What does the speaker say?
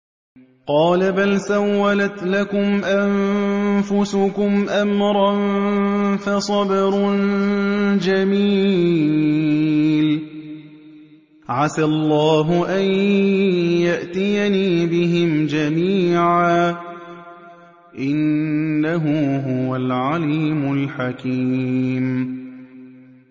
قَالَ بَلْ سَوَّلَتْ لَكُمْ أَنفُسُكُمْ أَمْرًا ۖ فَصَبْرٌ جَمِيلٌ ۖ عَسَى اللَّهُ أَن يَأْتِيَنِي بِهِمْ جَمِيعًا ۚ إِنَّهُ هُوَ الْعَلِيمُ الْحَكِيمُ